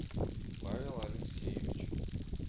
павел алексеевич